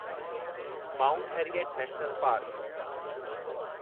mount Harriet National park